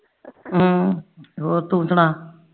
ਹਮ ਤੂੰ ਸੁਣਾ